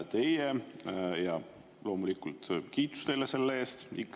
Teie – ja loomulikult kiitus teile selle eest!